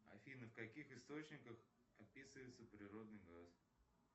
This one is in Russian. афина в каких источниках описывается природный газ